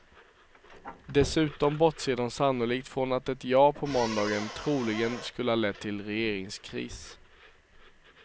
Dessutom bortser de sannolikt från att ett ja på måndagen troligen skulle ha lett till regeringskris.